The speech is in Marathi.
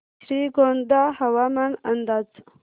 श्रीगोंदा हवामान अंदाज